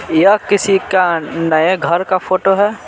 यह किसी का नए घर काफोटो है।